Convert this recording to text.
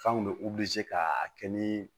F'anw be ka a kɛ nii